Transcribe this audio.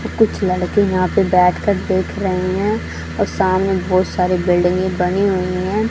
कुछ लड़के यहां पे बैठकर देख रहे हैं और सामने बहोत सारे बिल्डिंग बनी हुई हैं।